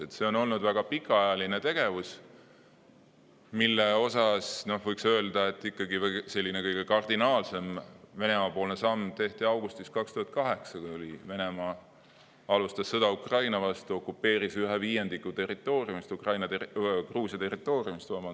Seal toimuv on olnud väga pikaajaline tegevus, mille käigus, võiks öelda, kõige kardinaalsem Venemaa-poolne samm tehti augustis 2008, kui Venemaa alustas sõda vastu, okupeeris ühe viiendiku Gruusia territooriumist.